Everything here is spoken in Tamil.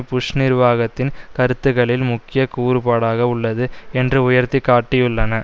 புஷ் நிர்வாகத்தின் கருத்துக்களில் முக்கிய கூறுபாடாக உள்ளது என்று உயர்த்தி காட்டியுள்ளன